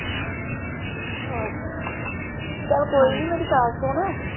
ਅੱਛਾ ਅੱਛਾ ਚਲ ਕੋਈ ਨੀ ਮੇਰੀ ਗੱਲ ਸੁਣ।